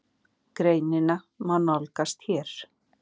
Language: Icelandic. Greinina má nálgast hér.